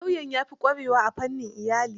Lauyan ya fi ƙwarewa a fannin iyali.